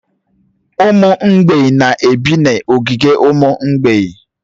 Ụmụ mgbei na-ebi n'ogige ụmụ mgbeị.